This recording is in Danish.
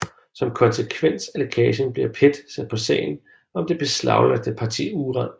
Som konsekvens af lækningen bliver PET sat på sagen om det beslaglagte parti uran